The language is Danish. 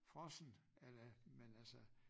Frossent a la men altså